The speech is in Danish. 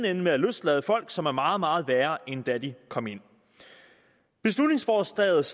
ende med at løslade folk som er meget meget værre end da de kom ind beslutningsforslaget